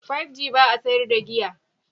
5G ba sa sayar da giya.